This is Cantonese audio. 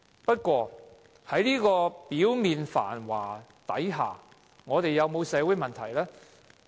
不過，在表面繁華之下，我們有沒有社會問題呢？